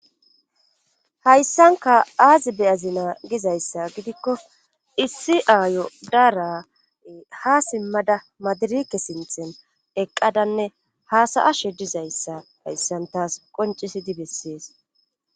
Hayssanka aazi beyazinaa gizayssa gidikko issi aayo daara ha simmada madirike sinthen eqqadanne haasa7ashe dizayssa hayssantas qoncisidi bessees.